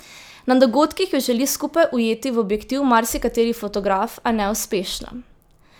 Na dogodkih ju želi skupaj ujeti v objektiv marsikateri fotograf, a neuspešno.